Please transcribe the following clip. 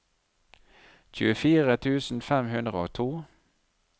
tjuefire tusen fem hundre og to